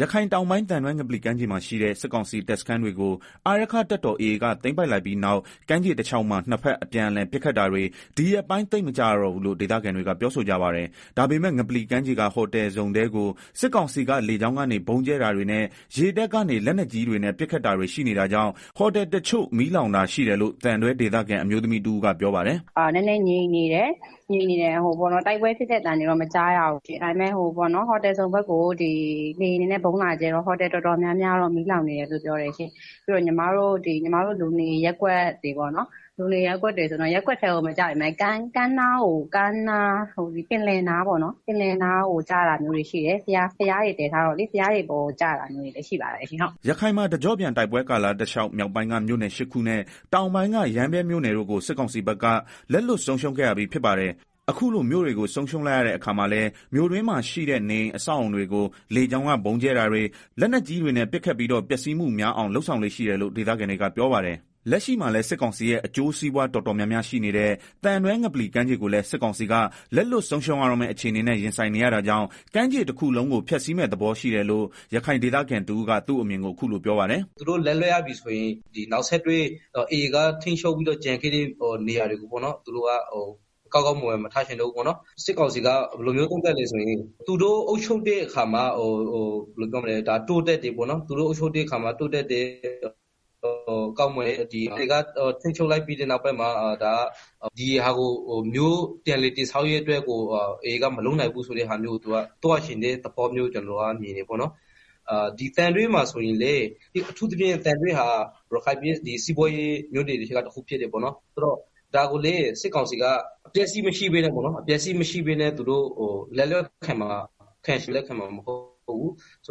ရခိုင်တောင်ပိုင်း၊ သံတွဲ ငပလီကမ်းခြေမှာရှိတဲ့ စစ်ကောင်စီတပ်စခန်းတွေကို အာရက္ခတပ်တော် AA က သိမ်းပိုက်လိုက်ပြီးနောက် ကမ်းခြေတလျောက်မှာ နှစ်ဘက် အပြန်အလှန် ပစ်ခတ်တာတွေ ဒီရက်ပိုင်း သိမ်မကြားရတော့ဘူးလို့ ဒေသခံတွေက ပြောဆိုကြပါတယ်။ ဒါပေမယ့်လည်း ငပလီကမ်းခြေက ဟိုတယ်ဇုန်ထဲကို စစ်ကောင်စီက လေကြောင်းကနေ ဗုံးကြဲတာတွေနဲ့ ရေတပ်ကနေ လက်နက်ကြီးတွေနဲ့ ပစ်ခတ်တာတွေရှိနေတာကြောင့် ဟိုတယ်တချို့ မီးလောင်တာရှိတယ်လို့ သံတွဲဒေသခံ အအမျိုးသမီးတဦးက ပြောပါတယ်။ “ နည်းနည်းငြိမ်နေတယ်၊ တိုက်ပွဲဖြစ်တဲ့ အသံတော့ မကြားရဘူး ဒါပေမယ့် ဟိုတယ်ဇုန် ဘက်ကိုတော့ လေယာဉ်နဲ့ဗုံးလာကြဲတော့ ဟိုတယ်တော်တော်များများတော့ မီးလောင်နေတယ်လို့ ကြားရပါတယ်၊ ပြီးတော့ လူနေရပ်ကွက်တွေမှာလည်း ရပ်ကွက်ထဲကို မကျပေမယ့် ပင်လယ်ကမ်းနားကို ကျတာမျိုးတွေရှိတယ်၊ ဘုရားတွေပေါ်ကို ကျတာမျိုးတွေ လည်းရှိပါ တယ်။” ရခိုင်မှာ တကြော့ပြန် တိုက်ပွဲကာလတလျောက် မြောက်ပိုင်းက မြို့နယ် ၈ခုနဲ့ တောင်ပိုင်းက ရမ်းဗြဲမြို့နယ်တို့ကို စစ်ကောင်စီဘက်က လက်လွှတ်ဆုံးရှုံးခဲ့ရပြီး ဖြစ်ပါတယ်။ အခုလို မြို့တွေကို ဆုံးရှုံးလိုက်ရတဲ့ အခါမှာလည်း မြို့တွင်းမှာရှိတဲ့ နေအိမ် အဆောက်အအုံတွေကို လေကြောင်းက ဗုံးကြဲတာတွေ၊ လက်နက်ကြီးတွေနဲ့ ပစ်ခတ်ပြီးတော့ ပျက်စီးမှုများအောင် လုပ်ဆောင်လေ့ရှိတယ်လို့ ဒေသခံတွေက ပြောပါတယ်။ လက်ရှိမှာလည်း စစ်ကောင်စီရဲ့ အကျိုးစီးပွား တော်တော်များများရှိနေတဲ့ သံတွဲ ငပလီကမ်းခြေကိုလည်း စစ်ကောင်စီက လက်လွတ် ဆုံးရှုံးရတော့မယ့် အခြေအနေနဲ့ ရင်ဆိုင်နေရတာကြောင့် ကမ်းခြေတခုလုံးကို ဖျက်ဆီးမယ့်သဘော ရှိတယ်လို့ ရခိုင်ဒေသခံတဦးက သူ့အမြင်ကို အခုလို ပြောပြပါတယ်။ “ သူတို့က နယ်မြေတခုကို လက်လွတ်ရတော့မယ်ဆိုရင် AA ထိန်းချုပ်မယ့်နေရာတွေကို ကောင်းကောင်းမွန်မွန် မထားခဲ့ချင်ဘူး၊ စစ်ကောင်စီက ဘယ်လိုလဲဆိုတော့ သူတို့အုပ်ချုပ်တဲ့ အခါ သူတို့ အုပ်ချုပ်ထားတဲ့ အခါ တိုးတက်တယ် ကောင်းမွန်တယ်၊ AAကထိန်းချုပ် လိုက်ပြီး နောက်ပိုင်းမှာ ပြန်လည်တည်ဆောက်ရေးအတွက်ကို AAကမလုပ်နိုင်ဘူးဆိုတာမျိုး သွားချင်တဲ့ သဘောလို့ မြင်တယ်၊ သံတွဲမှာဆိုရင်လည်း အထူးသဖြင့် သံတွဲဟာ ရခိုင်ပြည် နယ်ရဲ့ စီးပွားရေးမြို့နယ်တွေထဲက တမြို့ဖြစ်တယ်၊ ဆိုတော့ ဒီမြို့ကို စစ်ကောင်စီက အပျက်အစီးမရှိပဲနဲ့ လက်လွတ်ခံမှာ မဟုတ်ဘူး၊ သူ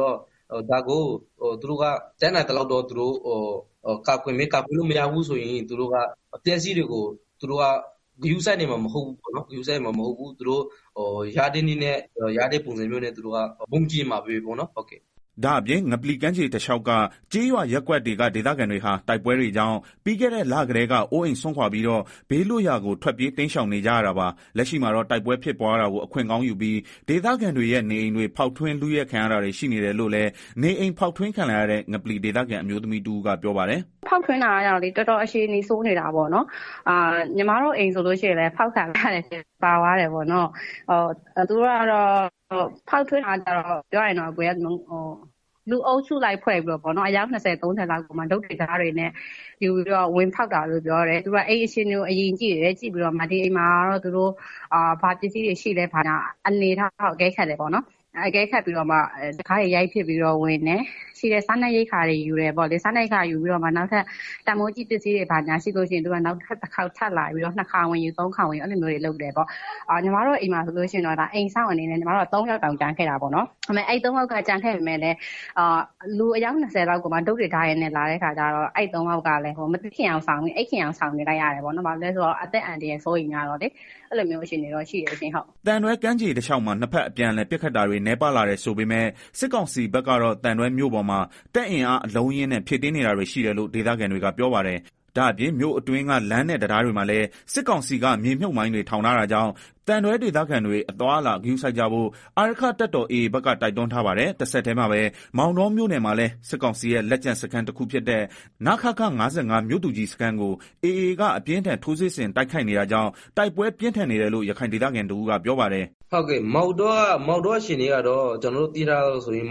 တို့က တတ်နိုင်သလောက်တော့ ကာကွယ်မယ် ကာကွယ်လို့မရတော့ဘူးဆိုရင်တော့ အပျက်အစီးတွေကို ဂရုစိုက်မှာမဟုတ်ဘူး။ ရတဲ့နည်းနဲ့ ရတဲ့ပုံစံမျိုးနဲ့ သူတို့ ဗုံးကြဲခဲ့မှာပဲ။” ဒါ့အပြင်ငပလီကမ်းခြေတလျောက်က ကျေးရွာ/ရပ်ကွက်တွေက ဒေသခံတွေဟာ တိုက်ပွဲတွေကြောင့် ပြီးခဲ့တဲ့ လကတည်းက အိုးအိမ် စွန်ခွာပြီးတော့ ဘေးလွတ်ရာကို ထွက်ပြေး တိမ်းရှောင်နေကြရတာပါ။ လက်ရှိမှာတော့ တိုက်ပွဲဖြစ်ပွားတာကို အခွင့်ကောင်းယူပြီး ဒေသခံတွေရဲ့ နေအိမ်တွေ ဖောက်ထွင်း လုယှက်ခံရတာတွေ ရှိနေတယ်လို့လည်း နေအိမ် ဖောက်ထွင်းခံလိုက်ရတဲ့ ငပလီဒေသခံ အမျိုးသမီးတဦးက ပြောပါတယ်။ “ ဖောက်ထွင်းတာကကျတော့လေ တော်တော် အခြေအနေဆိုးနေတာပေါ့နော်။ ညီမတို့ အိမ်ဆိုလို့ရှိရင်လည်း ဖောက်ခံလိုက်ရတယ် ပါသွားတယ်။ ဖောက်ထွင်းတာကလည်း လူအုပ်စုလိုက်ဖွဲ့ပြီးတော့ အယောက် ၂ဝလောက် တုတ်တွေ၊ ဓားတွေနဲ့ လာပြီးတော့ ဝင်ဖောက်တာလို့ ပြောတယ်။ သူတို့က အိမ်အခြေအနေကို အရင်ကြည့်တယ်၊ ပြီးတော့မှ ဒီအိမ်မှာ ဘာပစ္စည်းတွေရှိလဲ အနေအထားကို ကြည့်ပြီးမှ တံခါးတွေ ရိုက်ဖျက်ပြီးတော့ ဝင်တယ်။ ရှိတဲ့ စားနပ်ရိက္ခာတွေ ယူတယ်။ ပြီးတော့မှ တန်းဖိုးရှိပစ္စည်းတွေ ရှိတယ်ဆိုရင် နောက်ထပ်တခေါက် ထပ်လာပြီးတော့ ထပ်လာယူတယ်၊ အဲလိုလုပ်တာ။ ညီမတို့ အိမ်မှာဆိုရင် အိမ်စောင့်အနေနဲ့ ၃ယောက် တောင် ကျန်ခဲ့တာပေါ့နော်။ ဒါပေမယ့်လည်း လူအုပ်စုက တုတ်တွေ ဓားတွေနဲ့ဆိုတော့ မသိချင်ယောင်ဆောင်ပြီး အိပ်နေလိုက်ရတယ်။ အသက်အန္တရာယ်လည်း စိုးရိမ်ရတော့လေ အဲလိုအခြေအနေဖြစ်နေတယ်။” သံတွဲကမ်းခြေတလျောက်မှာ နှစ်ဘက်အပြအလှန်ပစ်ခတ်တာတွေနည်းပါး လာတယ်ဆို ပေမယ့် စစ်ကောင်စီဘက်ကတော့ သံတွဲမြို့ပေါ်မှာ တပ်အင်အားအလုံးအရင်းနဲ့ ဖြည့်တင်းနေတာတွေရှိတယ်လို့ ဒေသခံတွေက ပြောပါတယ်။ဒါ့အပြင် မြို့အတွင်းက လမ်းနဲ့ တံတားတွေမှာလည်း စစ်ကောင်စီကမြေမြုပ်မိုင်းတွေ ထောင်တာတာကြောင့် သံတွဲဒေသခံတွေ အသွားအလာဂရုစိုက်ကြဖို့ အာရက္ခတပ်တော် AA ဘက်က တိုက်တွန်းထားပါတယ်။ တဆက်တည်းမှာပဲ မောင်တောမြို့နယ်မှာလည်း စစ်ကောင်စီရဲ့ လက်ကျန်စခန်း တခုဖြစ်တဲ့ နခခ (၅၅) မြို့သူကြီးစခန်းကို AA က အပြင်းအထန် ထိုးစစ်ဆင် တိုက်ခိုက်နေတာကြောင့် တိုက်ပွဲ ပြင်းထန်နေတယ်လို့ ရခိုင်ဒေသခံတဦးက ပြောပါတယ်။ "မောင်တောမှာက ကျနော်တို့ သိရသလောက်ဆိုရင်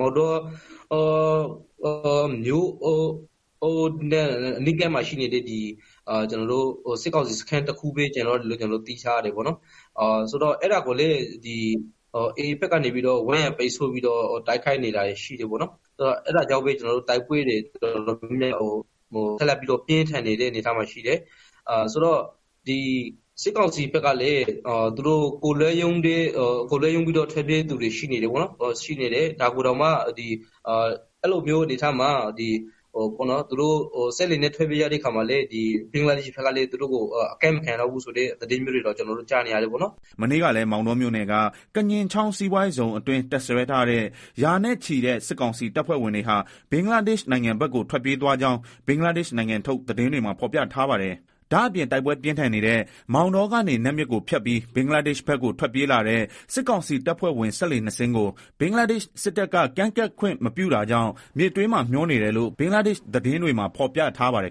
မြို့နဲ့ အနီးဆုံးစခန်းတခုပဲ ကျန်တော့တယ်လို့ ကျနော်တို့ သိထားရတယ်။ အဲတာကိုလည်း AA က ဝန်းရံပိတ်ဆို့ပြီးတော့ တိုက်ခိုက်နေတာရှိတော့ တိုက်ပွဲတွေ ပြင်းထန်နေတယ်။ စစ်ကောင်စီဘက်ကလည်း တပ်သားတချို့လည်း ကိုယ်လွတ်ရုန်းပြီးတော့ ထွက်ပြေးနေကြတယ်။ စက်လှေနဲ့ ထွက်ပြေးသူတချို့ကိုလည်း ဘင်္ဂလားဒေရှ့်ဘက်က ကမ်းကိုအကပ်မခံဘူးလို့လည်း ကျနော်တို့ ကြားရတယ်။” မနေ့ကလည်း မောင်တောမြို့နယ်က ကညင်ချောင်း စီးပွားရေးဇုန်အတွင်း တပ်စွဲထားတဲ့ ရာနဲ့ချီတဲ့ စစ်ကောင်စီတပ်ဖွဲ့ဝင်တွေဟာ ဘင်္ဂလားဒေရှ့်နိုင်ငံဘက်ကို ထွက်ပြေးသွားကြောင်း ဘင်္ဂလားဒေ့ရှ်နိုင်ငံထုတ် သတင်းတွေမှာ ဖော်ပြထားပါတယ်။ ဒါ့အပြင် တိုက်ပွဲပြင်း ထန်နေတဲ့ မောင်တောကနေ နတ်မြစ်ကိုဖြတ်ပြီး ဘင်္ဂလားဒေရှ့်် ဘက်ကို ထွက်ပြေးလာတဲ့ စစ်ကောင်စီတပ်ဖွဲ့ဝင် စက်လှေနှစ်စင်းကို ဘင်္ဂလားဒေရှ့်စစ်တပ်က ကမ်းကပ်ခွင့်မပြုတာကြောင့် မြစ်တွင်းမှာ မျောနေတယ်လို့ ဘင်္ဂလားဒေရှ့်သတင်း တွေမှာဖော်ပြထားပါတယ်